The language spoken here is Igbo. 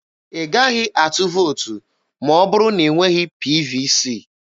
Ị gaghị atụ vootu ma ọ bụrụ na ị nweghị PVC.